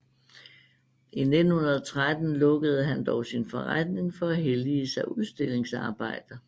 I 1913 lukkede han dog sin forretning for at hellige sig udstillingsarbejde